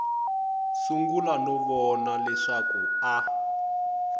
sungula no vona leswaku a